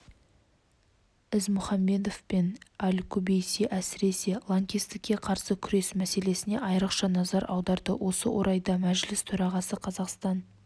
ізмұхамбетов пен аль-кубейси әсіресе лаңкестікке қарсы күрес мәселесіне айрықша назар аударды осы орайда мәжіліс төрағасы қазақстан